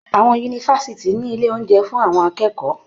Àwọn yunifásitì ní ilé oúnjẹ fún àwọn akẹ́kọ̀ọ́.